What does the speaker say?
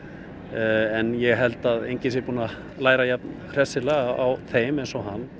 en ég held að enginn sé búinn að læra jafnhressilega á þeim og hann